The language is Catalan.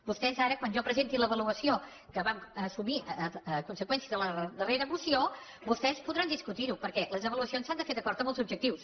vostès ara quan jo presenti l’avaluació que vam assumir a conseqüència de la darrera moció vostès podran discutir ho perquè les avaluacions s’han de fer d’acord amb els objectius